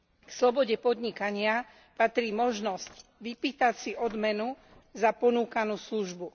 K slobode podnikania patrí možnosť vypýtať si odmenu za ponúkanú službu.